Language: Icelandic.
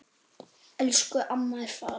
Elsku amma er farin.